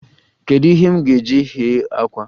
Kedu ihe m ga-eji ghee àkwá?